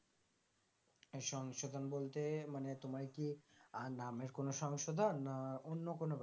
এই সংশোধন বলতে মানে তোমার কি আর নামের কোনো সংশোধন না অন্য কোন ব্যাপার